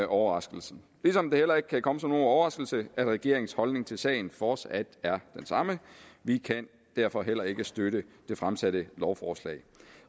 overraskelse ligesom det heller ikke kan komme som nogen overraskelse at regeringens holdning til sagen fortsat er den samme vi kan derfor heller ikke støtte det fremsatte lovforslag